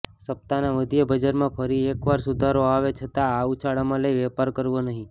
સપ્તાહના મધ્યે બજારમાં ફરી એક વાર સુધારો આવે છતાં આ ઉછાળામાં લઈ વેપાર કરવો નહીં